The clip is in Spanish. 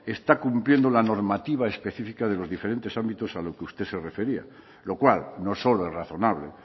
está cumpliendo la normativa específica de los diferentes ámbitos a los que usted se refería lo cual no solo es razonable